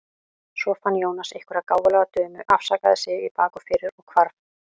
Svo fann Jónas einhverja gáfulega dömu, afsakaði sig í bak og fyrir og hvarf.